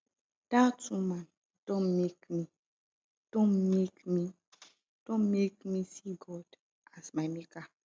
dat woman don make me don make me see god as my maker